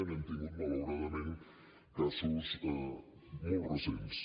n’hem tingut malauradament casos molt recents